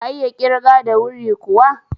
Ka iya ƙirga da wuri kuwa?